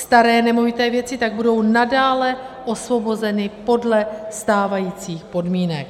Staré nemovité věci tak budou nadále osvobozeny podle stávajících podmínek.